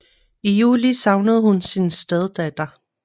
I juli savnede hun sin steddatter